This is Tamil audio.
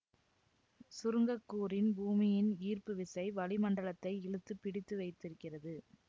சுருங்கக்கூறின் பூமியின் ஈர்ப்பு விசை வளி மண்டலத்தை இழுத்துப் பிடித்து வைத்து இருக்கிறது